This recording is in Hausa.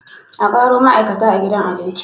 Akaro ma'aikata a gidan abincin